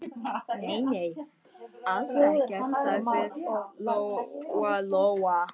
Nei, nei, alls ekkert, sagði Lóa-Lóa.